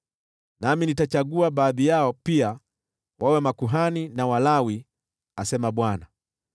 Nami nitachagua baadhi yao pia wawe makuhani na Walawi,” asema Bwana .